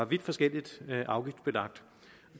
vidt forskelligt og